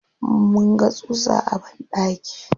Mun ga tsutsa a banɗaki.